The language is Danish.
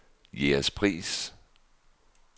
Jægerspris